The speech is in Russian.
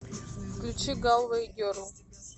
включи галвэй герл